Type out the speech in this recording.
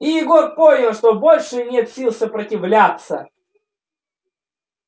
и егор понял что больше нет сил сопротивляться